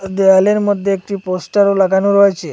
দেয়ালের মধ্যে একটি পোস্টারও লাগানো রয়েছে।